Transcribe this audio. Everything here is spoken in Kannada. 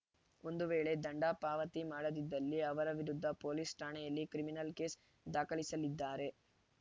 ಒಂದು ವೇಳೆ ದಂಡ ಪಾವತಿ ಮಾಡದಿದ್ದಲ್ಲಿ ಅವರ ವಿರುದ್ಧ ಪೊಲೀಸ್‌ ಠಾಣೆಯಲ್ಲಿ ಕ್ರಿಮಿನಲ್‌ ಕೇಸ್‌ ದಾಖಲಿಸಲಿದ್ದಾರೆ